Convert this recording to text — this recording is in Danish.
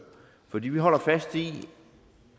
for vi holder fast i